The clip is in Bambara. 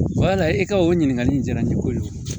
Wala e ka o ɲininkali in diyara ne ye kojugu